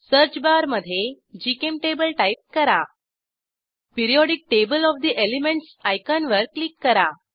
search bar मधे gchemtable type करा periodic table of the elements आयकॉनवर क्लिक करा